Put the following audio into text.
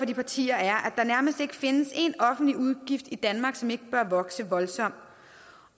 de partier er at der nærmest ikke findes én offentlig udgift i danmark som ikke bør vokse voldsomt